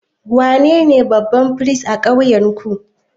Wanene babban firist a ƙauyenku?